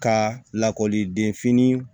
Ka lakɔliden fini